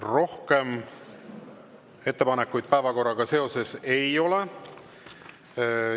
Rohkem ettepanekuid päevakorraga seoses ei ole.